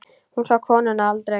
Hún sá konuna aldrei.